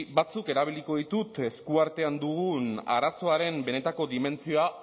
batzuk erabiliko ditut eskuartean dugun arazoaren benetako dimentsioa